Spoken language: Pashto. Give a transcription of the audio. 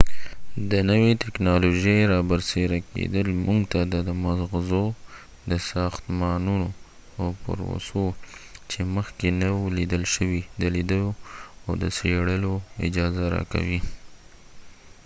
د نوې تکنالوژۍ رابرسیره کیدل موږ ته د مغزو د ساختمانونو او پروسو چې مخکې نه و لیدل شوي د لیدو او څیړلو اجازه راکوي